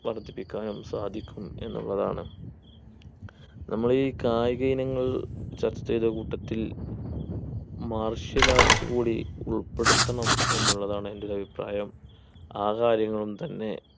വർധിപ്പിക്കാനും സാധിക്കും എന്നുള്ളതാണ് നമ്മൾ ഈ കായിക ഇനങ്ങൾ ചർച്ച ചെയ്ത കൂട്ടത്തിൽ martial arts കൂടി ഉൾപ്പെടുത്തണം എന്നുള്ളതാണ് എൻ്റെ ഒരു അഭിപ്രായം ആ കാര്യങ്ങളും തന്നെ